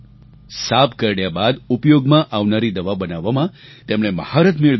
સાપ કરડ્યા બાદ ઉપયોગમાં આવનારી દવા બનાવવામાં તેમણે મહારથ મેળવેલ છે